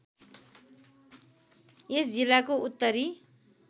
यस जिल्लाको उत्तरी